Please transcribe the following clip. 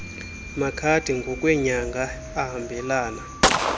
makhadi ngokweenyanga ahambelana